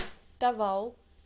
тавау